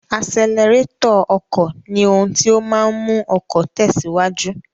Asẹlẹrétọ̀ ọkọ ni ohun tí ó máa ń mú ọkọ̀ tẹ̀síwájú.